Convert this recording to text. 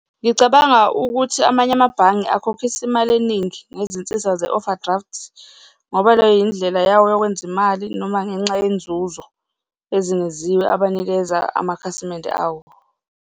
Ngicabanga ukuthi amanye amabhange akhokhisa imali eningi ngezinsiza ze-overdraft-i, ngoba leyo yindlela yawo yokwenza imali noma ngenxa yenzuzo ezingeziwe abanikeza amakhasimende awo.